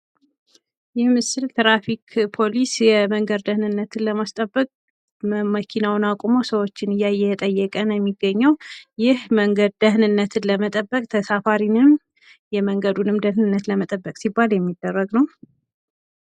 ይህ ምስል ትራፊክ ፖሊስ የመንገድ ደህንነትን ለማስጠበቅ መኪኖችን አስቁሞ እያየ እየጠየቀ ነው የሚገኘው ይህ የመንገድ ደህንነትን ለመጠበቅ ፥ ተሳፋሪውንም ፥ የመንገድ ደህንነትንም ለመጠበቅ ሲባል የሚደረግ ነው።